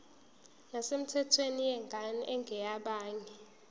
nesemthethweni yengane engeyabanye